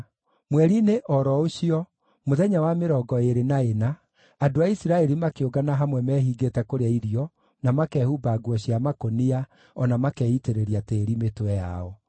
Mweri-inĩ o ro ũcio, mũthenya wa mĩrongo ĩĩrĩ na ĩna, andũ a Isiraeli makĩũngana hamwe mehingĩte kũrĩa irio na makehumba nguo cia makũnia, o na makeitĩrĩria tĩĩri mĩtwe yao.